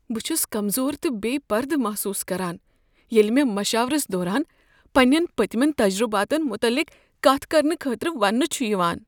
بہٕ چھس کمزور تہٕ بےٚ پردٕ محسوس کران ییٚلہ مےٚ مشاورس دوران پنٛنٮ۪ن پٔتمٮ۪ن تجرباتن متعلق کتھ کرنہٕ خٲطرٕ ونٛنہٕ چھُ یوان۔